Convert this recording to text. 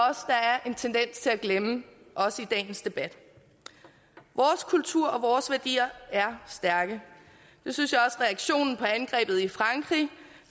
en tendens til at glemme også i dagens debat vores kultur og vores værdier er stærke det synes jeg også reaktionen på angrebet i frankrig